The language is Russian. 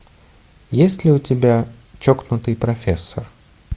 есть ли у тебя чокнутый профессор